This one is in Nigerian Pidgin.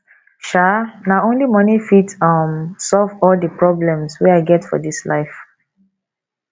um na only moni fit um solve all di problem wey i get for dis life